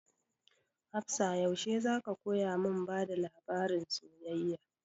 Hafsah yaushe za ka koya mun bada labarin soyayya?